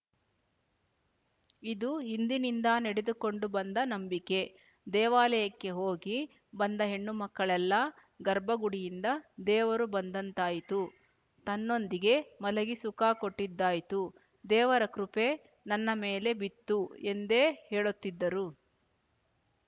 ಇದು ಹಿಂದಿನಿಂದ ನಡೆದುಕೊಂಡು ಬಂದ ನಂಬಿಕೆ ದೇವಾಲಯಕ್ಕೆ ಹೋಗಿ ಬಂದ ಹೆಣ್ಣುಮಕ್ಕಳೆಲ್ಲಾ ಗರ್ಭಗುಡಿಯಿಂದ ದೇವರು ಬಂದಂತಾಯ್ತು ತನ್ನೊಂದಿಗೆ ಮಲಗಿ ಸುಖ ಕೊಟ್ಟಿದ್ದಾಯ್ತು ದೇವರ ಕೃಪೆ ನನ್ನ ಮೇಲೆ ಬಿತ್ತುಎಂದೇ ಹೇಳುತ್ತಿದ್ದರು